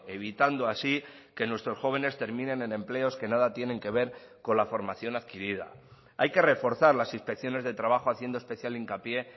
evitando así que nuestros jóvenes terminen en empleos que nada tienen que ver con la formación adquirida hay que reforzar las inspecciones de trabajo haciendo especial hincapié